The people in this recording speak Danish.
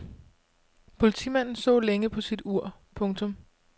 Politimanden så længe på sit ur. punktum